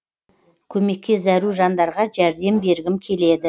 көмекке зәру жандарға жәрдем бергім келеді